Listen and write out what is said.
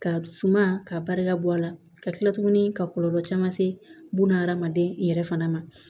Ka suman ka barika bɔ a la ka tila tuguni ka kɔlɔlɔ caman se buna adamaden yɛrɛ fana ma